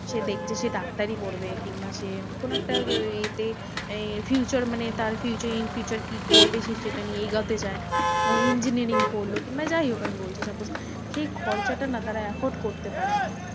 সে দেখছে সে ডাক্তারি পড়বে। কিংবা সে কোনো একটা এ তে এ মানে future মানে তার future in future কি করবে সে সেটা নিয়ে এগোতে চায়। ধরো engineering পড়লো কিংবা যাইহোক আমি বলছি suppose সেই খরচটা না তারা accord করতে পারে না।